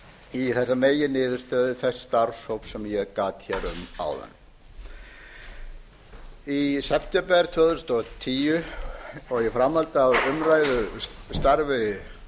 í þessa meginniðurstöðu þess starfshóps sem ég gat um áðan í september tvö þúsund og tíu og í framhaldi af umræðu af starfi